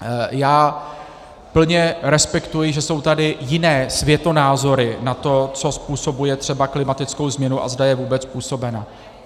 Já plně respektuji, že jsou tady jiné světonázory na to, co způsobuje třeba klimatickou změnu a zda je vůbec způsobena.